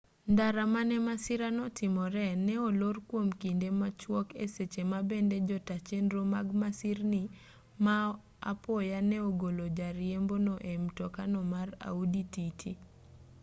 ndara mane masirano otimoree ne olor kwom kinde machwok e seche ma bende jotaa chenro mag masirni ma apoya ne ogolo jariembono e mtokano mar audi tt